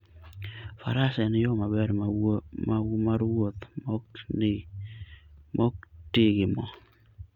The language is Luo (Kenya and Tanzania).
faras en yo maber mar wuoth maok ti gi mo.